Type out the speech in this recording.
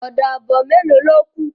Ọ̀dà abọ melo ló kù